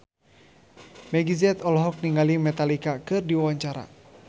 Meggie Z olohok ningali Metallica keur diwawancara